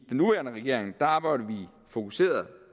nuværende regering arbejder vi fokuseret